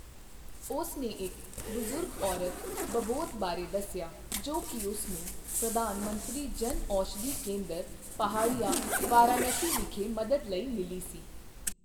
ਉਸ ਨੇ ਇੱਕ ਬਜ਼ੁਰਗ ਔਰਤ ਬਬੌਤ ਬਾਰੇ ਦੱਸਿਆ ਜੋ ਕਿ ਉਸ ਨੂੰ ਪ੍ਰਧਾਨ ਮੰਤਰੀ ਜਨ ਔਸ਼ਧੀ ਕੇਂਦਰ, ਪਹਾੜੀਆ, ਵਾਰਾਣਸੀ ਵਿਖੇ ਮਦਦ ਲਈ ਮਿਲੀ ਸੀ।